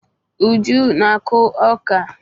Uju na-akụ ọka.